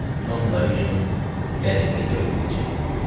Tom dayı kimi qəriblikdə ölməyəcək.